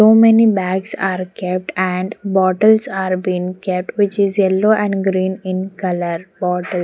so many bags are kept and bottles are been kept which is yellow and green in colour bottle --